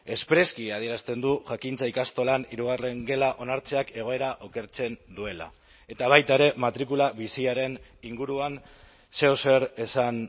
espreski adierazten du jakintza ikastolan hirugarren gela onartzeak egoera okertzen duela eta baita ere matrikula biziaren inguruan zeozer esan